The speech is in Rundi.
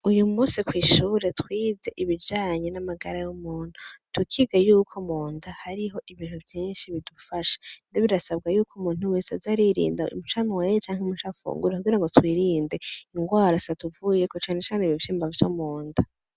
Uyumusi kw’ishure twize ibijanye n’amagara y’umutuntu. Tukiga yuko nunda hariho ibintu vyinshi bidufasha. Rero birasabwako umuntu wese aza aririnda ico anyoye canke icafunguye kugirango twirinde ingwara zitatuvuyeko cane cane ibivyimba vyo munda.